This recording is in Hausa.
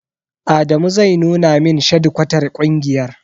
Adamu zai nuna min shadikwatar ƙungiyar.